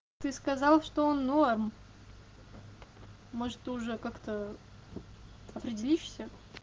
ты сказал что он норм может ты уже как-то определишься